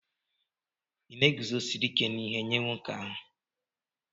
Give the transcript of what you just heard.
Ị na-eguzosiri ike n'ihe nye nwoke ahụ?